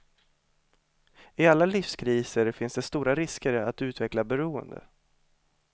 I alla livskriser finns det stora risker att utveckla beroende.